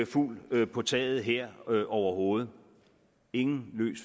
fugle på taget her overhovedet ingen